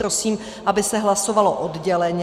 Prosím, aby se hlasovalo odděleně.